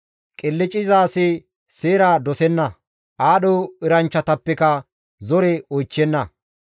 Qilcciza asi seera dosenna; aadho eranchchatappekka zore oychchenna.